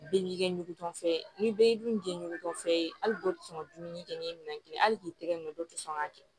Bɛɛ b'i kɛ ɲugutɔfɛn ye ni b'i dun gɛntɔ fɛ hali dɔw tɛ sɔn ka dumuni kɛ n'i ye minɛn kelen hali k'i tɛgɛ nɔ dɔ tɛ sɔn k'a kɛ